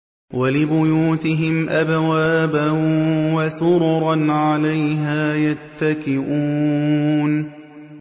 وَلِبُيُوتِهِمْ أَبْوَابًا وَسُرُرًا عَلَيْهَا يَتَّكِئُونَ